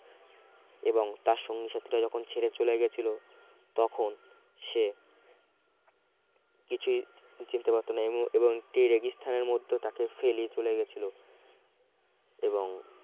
এবং তার সঙ্গী সাথীরা যখন ছেড়ে চলে গিয়েছিল তখন সে কিছুই চিনতে পারছ না এবং একটি রেগি স্থানের মধ্যে তাকে ফেলে চলে গেছিল এবং